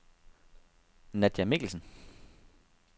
Nadja Mikkelsen